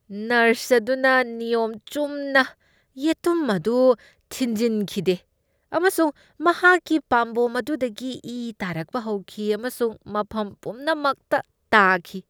Nurse ꯑꯗꯨꯅ ꯅꯤꯌꯣꯝ ꯆꯨꯝꯅ ꯌꯦꯇꯨꯝ ꯑꯗꯨ ꯊꯤꯟꯖꯤꯝꯈꯤꯗꯦ ꯑꯃꯁꯨꯡ ꯃꯍꯥꯛꯀꯤ ꯄꯥꯝꯕꯣꯝ ꯑꯗꯨꯗꯒꯤ ꯏ ꯇꯥꯔꯛꯄ ꯍꯧꯈꯤ ꯑꯃꯁꯨꯡ ꯃꯐꯝ ꯄꯨꯝꯅꯃꯛꯇ ꯇꯥꯈꯤ꯫